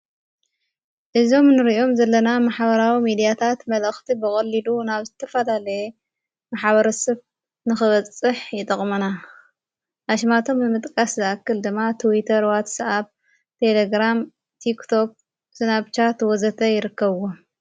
እዞም ንርእዮም ዘለና መሓበራዊ ሚዲያታት መጠእኽቲ ብቖሊሉ ናብ ዝተፋላለየ መሓበር ስብ ንኽበጽሕ ይጠቕመና ኣሽማቶም ምጥቃስ ዝኣክል ድማ ትዉተ ርዋት ሰኣብ ተለግራም ቲክቶብ ዝናብሻ ትወዘተ ይርከዎ::